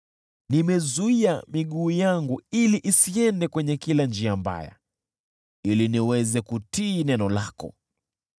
Nimezuia miguu yangu isiende kwenye kila njia mbaya, ili niweze kutii neno lako.